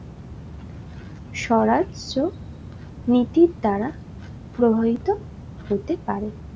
স্বরাজ্য নীতির ধারা প্রভাবিত হতে পারে